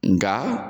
Nga